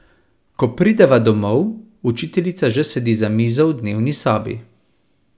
Ko prideva domov, učiteljica že sedi za mizo v dnevni sobi.